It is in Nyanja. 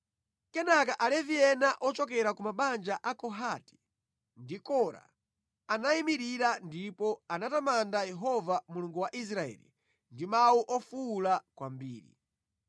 Kenaka Alevi ena ochokera ku mabanja a Kohati ndi Kora anayimirira ndipo anatamanda Yehova Mulungu wa Israeli ndi mawu ofuwula kwambiri.